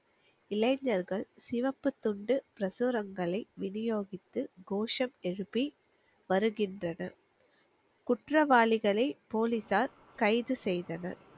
இளைஞர்கள் சிவப்புத் துண்டு பிரசுரங்களை வினியோகித்து கோஷம் எழுப்பி வருகின்றனர் குற்றவாளிகளை போலீசார் கைது செய்தனர்